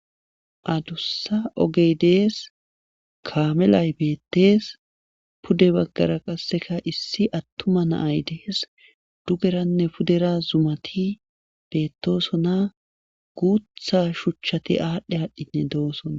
Adussa ogey dees kaamelay beettees pude baggara qasseka issi attuma naay dees dugeranne pudera zumati beettosona guutha shuchchati aadhdhe aadhdhinne doosoa.